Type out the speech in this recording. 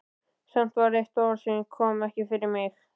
Samt var eitt orð sem ég kom ekki fyrir mig.